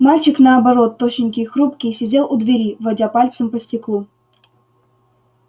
мальчик наоборот тощенький и хрупкий сидел у двери водя пальцем по стеклу